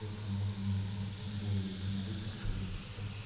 сколько может быть в баскетболе ещё могу пошарить и все